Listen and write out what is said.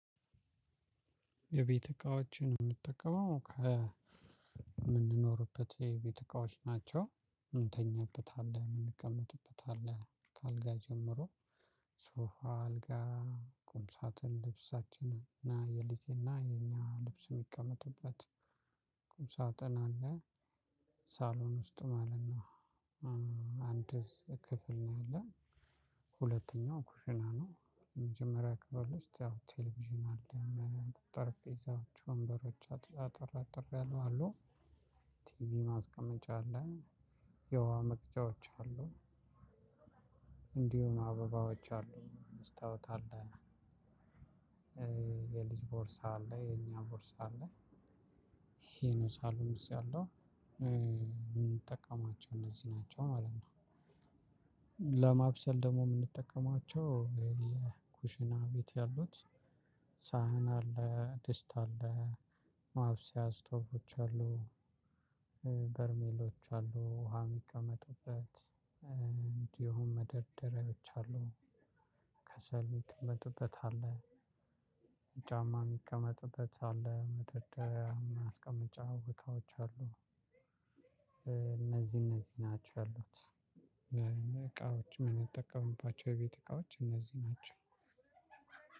የቤት እቃዎችን የምጠቀመው ከምንኖርበት የቤት እቃዎች ናቸው እንተኛበታለን እንቀመጥበታለን ከአልጋ ጀምሮ ሶፋ አልጋ ቁምሳጥን ልብሳችንን እና የልጅና የኛ ልብስ የሚቀመጥበት ሳጥን አለ። ሳሎን ውስጥ ማለት ነው። አንድ ክፍል ነው ያለን ሁለተኛው ኩሽና ነው። የመጀመሪያ ክፍል ውስጥ ቴሌቭዥን አለ ማለት ነው ጠረጴዛዎች ወንበሮች አጠር አጠር ያሉ አሉ። ቲቪ ማስቀመጫ አለ የውሃ መቅጃዎች አሉ። እንዲሁ አበባዎች አሉ መስታወት አለ። የልጅ ቦርሳ አለ የኛ ቦርሳ አለ። ይሄ ነው ሳሎን ውስጥ ያለው የምንጠቀማቸው እነዚህ ናቸው ማለት ነው። ለማብሰል ደግሞ የምንጠቀማቸው የኩሽና ቤት ያሉት ሳህን አለ ድስት አለ ማብሰያ ስቶቮች አሉ። በርሜሎች አሉ ውሃ የሚቀመጥበት እንዲሁም መደርደሪያዎች አሉ። ከሰል የሚቀመጥበት አለ። ጫማ የሚቀመጥበት አለ መደርደሪያ ማስቀመጫ እቃዎች አሉ። እነዚህ እነዚህ ናቸው ያሉት። እቃዎች የምንጠቀምባቸው የቤት እቃዎች እነዚህ ናቸው።